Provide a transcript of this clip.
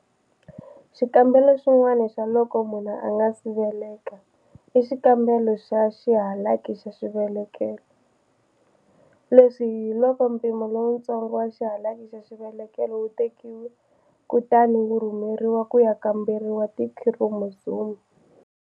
Xikambelo xin'wana xa loko munhu a nga si veleka i xikambelo xa xihalaki xa xivelekelo. Leswi hi loko mpimo lowutsongo wa xihalaki xa xivelekelo wu tekiwa kutani wu rhumeriwa ku ya kamberiwa tikhiromozomu.